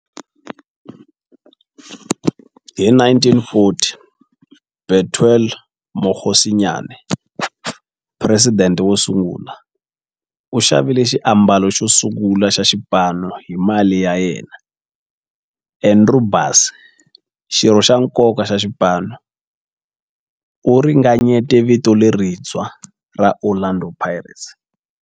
Hi 1940, Bethuel Mokgosinyane, president wosungula, u xavile xiambalo xosungula xa xipano hi mali ya yena. Andrew Bassie, xirho xa nkoka xa xipano, u ringanyete vito lerintshwa ra 'Orlando Pirates'.